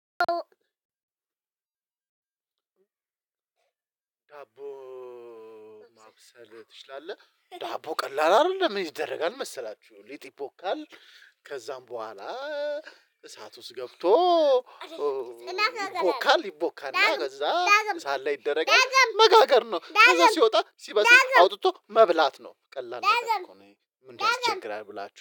ዳቦ ማብሰል ትችላለህ ዳቦ ቀላል አይደለም ምን ይደረጋል መሰላችሁ ሊጥ ይቦካል። ከዛም በኋላ እሳት ውስጥ ገብቶ። ይቦካል ይቦካና ከዛ እሳት ላይ ይደረጋል መጋገር ነው። ከዛ ሲወጣ ሲበስል አውጥቶ መብላት ነው። ቀላል ነገር እኮ ነው ምን ያስቸግራል ብላችሁ